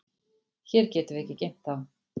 Hér getum við ekki geymt þá.